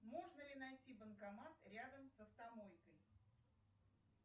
можно ли найти банкомат рядом с автомойкой